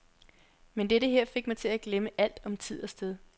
Men dette her fik mig til at glemme alt om tid og sted.